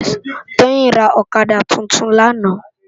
Toyin rá òkadá tútún làná